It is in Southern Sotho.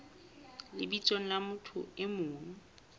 lebitsong la motho e mong